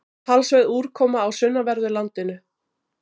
Talsverð úrkoma á sunnanverðu landinu